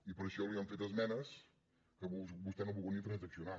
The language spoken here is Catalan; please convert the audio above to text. i per ai·xò li hem fet esmenes que vostè no ha volgut ni trans·accionar